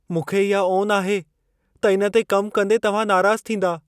मूंखे इहा ओन आहे त इन ते कमु कंदे तव्हां नाराज़ थींदा।